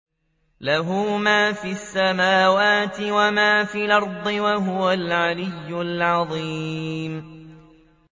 لَهُ مَا فِي السَّمَاوَاتِ وَمَا فِي الْأَرْضِ ۖ وَهُوَ الْعَلِيُّ الْعَظِيمُ